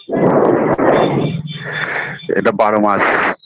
BREATHE এটা বারো মাস